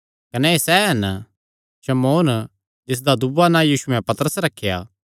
कने एह़ सैह़ हन शमौन जिसदा दूआ नां यीशुयैं पतरस रखेया